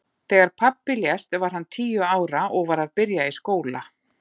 Þegar pabbi lést var hann tíu ára og var að byrja í skóla.